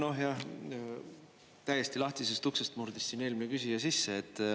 No jah, täiesti lahtisest uksest murdis eelmine küsija sisse.